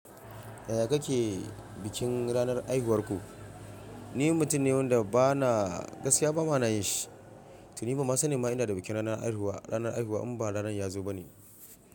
Yaya kake bikin ranar haihuwar ku? Ni mutum ne wanda ba na gaskiya ba ma na yi shi. To ni ba ma sanin ma ina da bikin ranar haihuwa. Ranar haihuwa in ba ranar yazo ba ne.